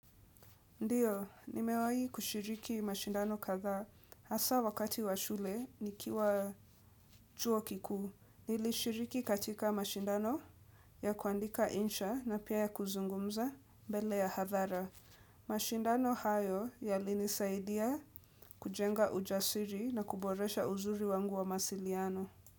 Ndio, nimewahi kushiriki mashindano kadhaa hasa wakati wa shule nikiwa chuo kikuu. Nilishiriki katika mashindano ya kuandika insha na pia ya kuzungumza mbele ya hadhara. Mashindano hayo yalinisaidia kujenga ujasiri na kuboresha uzuri wangu wa mawasiliano.